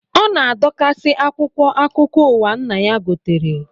Ọ na-adọkasị akwụkwọ akụkọụwa nna ya gotere